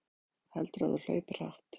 Heldurðu að þú hlaupir hratt?